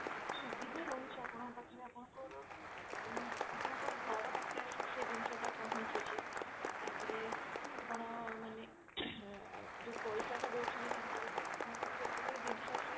ସୁବିଧା ରହୁଛି ଆପଣଙ୍କ ପାଖେ ଆପଣଙ୍କର ମାନେ ଆପଣଙ୍କ ଘର ପାଖରେ ଆସିକି ସେ ଜିନିଷଟା ପହଞ୍ଚୁଛି ତାପରେ ଆପଣ ମାନେ ଯଉ ପଇସା ଟା ଦଉଛନ୍ତି ତାଙ୍କୁ ଯେତେବେଳେ ଜିନିଷ ଆସି